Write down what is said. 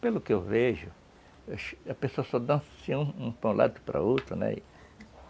Pelo que eu vejo, a pessoa só dança assim, de um lado para o outro, né.